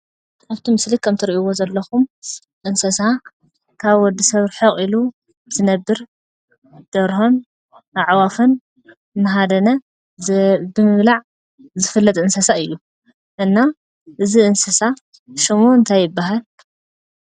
ኣብቲ ምስሊ ከም እትሪእዎ ዘለኩም እንስሳ ካብ ወዲ ሰብ ርሕቅ ኢሉ ዝነብር ደርሆን ኣዕዋፍን እንዳሃደነ ብምብላዕ ዝፍለጥ እንስሳ እዩ፡፡ እና እዚ እንስሳ ሽሙ እንታይ ይባሃል?